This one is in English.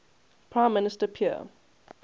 prime minister pierre